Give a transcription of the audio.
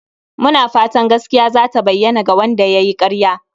Muna fatan gaskiya zata bayyana" ga Wanda yayi karya